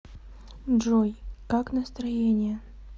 джой как настроение